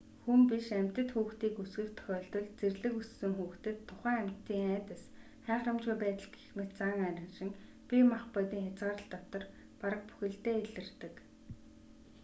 хүн биш амьтад хүүхдийг өсгөх тохиолдолд зэрлэг өссөн хүүхдэд тухайн амьтдын айдас хайхрамжгүй байдал гэх мэт зан араншин бие махбодын хязгаарлалт дотор бараг бүхэлдээ илэрдэг